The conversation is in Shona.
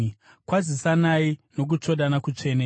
Kwazisanai nokutsvodana kutsvene.